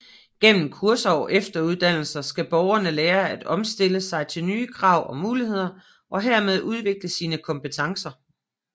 Gennem kurser og efteruddannelser skal borgerne lære at omstille sig til nye krav og muligheder og herved udvikle sine kompetencer